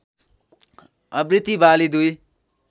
आवृत्ति वाली दुई